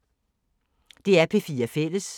DR P4 Fælles